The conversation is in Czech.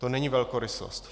To není velkorysost.